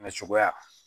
cogoya